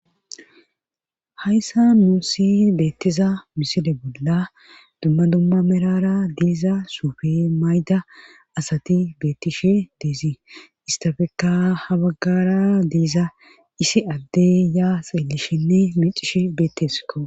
hayssa muusi beettiza misile bolla dumma dumma merara diiza suufe mayda asati beettishe deezi istafekka habaggara diiza isi addey yaa seelishenne micishe bettesko